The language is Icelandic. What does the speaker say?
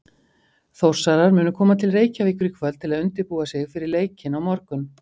Þórsarar munu koma til Reykjavíkur í kvöld til að undirbúa sig fyrir leikinn á morgun.